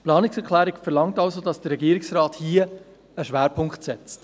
Die Planungserklärung verlangt somit, dass der Regierungsrat hier einen Schwerpunkt setzt.